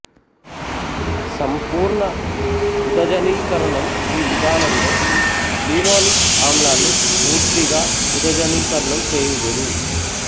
సంపూర్ణ ఉదజనీకరణం ఈ విధానంలో లినొలిక్ ఆమ్లాన్ని పూర్తిగా ఉదజనీకరణం చేయుదురు